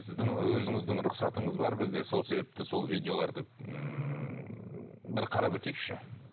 сіздің өзіңіздің рұқсатыңыз бар бізде сол себепті сол видеоларды ммм бір қарап өтейікші